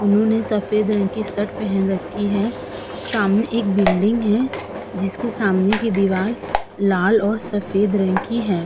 उन्होंने सफेद रंग शर्ट पहन रखी है। सामने एक बिल्डिंग है। जिसके सामने की दीवार लाल और सफेद रंग की है।